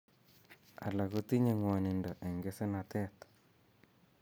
Alak kotinye ng'wonindo eng' kesenatet